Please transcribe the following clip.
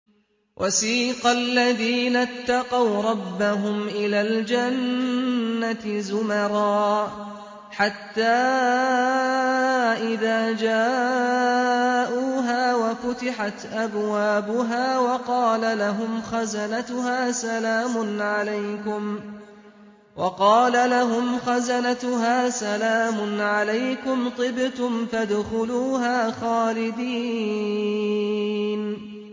وَسِيقَ الَّذِينَ اتَّقَوْا رَبَّهُمْ إِلَى الْجَنَّةِ زُمَرًا ۖ حَتَّىٰ إِذَا جَاءُوهَا وَفُتِحَتْ أَبْوَابُهَا وَقَالَ لَهُمْ خَزَنَتُهَا سَلَامٌ عَلَيْكُمْ طِبْتُمْ فَادْخُلُوهَا خَالِدِينَ